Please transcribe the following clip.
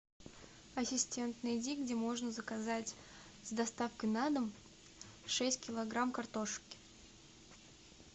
ассистент найди где можно заказать с доставкой на дом шесть килограмм картошки